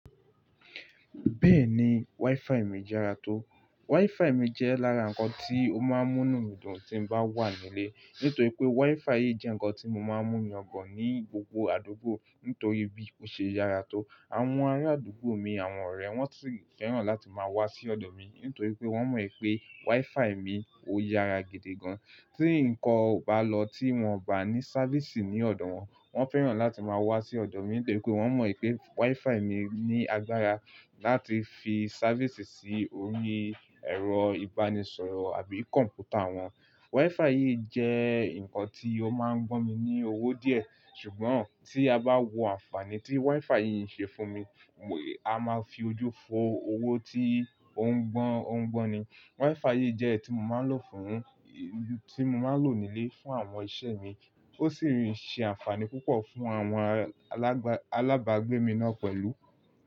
Bẹ́ẹ̀ni, WiFi mi jẹ́ ara tó. WiFi mi jẹ́ lára nǹkan tí ó máa ń mú nu mí dùn tín bá wà nílé. Nítorí pé WiFi yìí jẹ́ nǹkan tí mọ máa ń mú yangan ní gbogbo àdúgbò nítorí bí ó ṣe yára tó. Àwọn ará àdúgbò mi àwọn ọ̀rẹ́ wọ́n sì fẹ́ràn láti máa wá sí ọ̀dọ̀ mi nítorí pé wọ́n mọ̀ pé WiFi mi ò yára gidi gan. Tí nǹkan o bá lọ tí wọ́n bá ní sáfísì ní ọ̀dọ̀ wọn, wọ́n fẹ́ràn láti máa wá sí ọ̀dọ̀ mi nítorí pé wọ́n mọ̀ pé WiFi mi ní agbára láti fi sáfísì sí orí ẹ̀rọ ìbánisọ̀rọ̀ àbí kọ̀m̀pútà wọn. WiFi yìí jẹ́ nǹkan tí ó máa ń gbọ́n mi ní owó díẹ̀. Ṣùgbọ́n tí a bá wo àǹfààní tí WiFi yìí ṣe fún mi, a máa fi ojú fo owó tí ó ń gbọ́n, ó ń gbọ́n ni. WiFi yìí jẹ́ ẹ́ tí mo máa ń lò fún, tí mo máa ń lò nílé fún àwọn iṣẹ́ mi. Ó sì ń ṣe àǹfààní púpọ̀ fún àwọn alábàgbé mi náà pẹ̀lú.